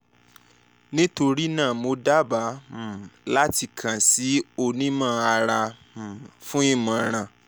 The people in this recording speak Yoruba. nitorina mo daba um lati kan si a onimọ-ara um fun imọran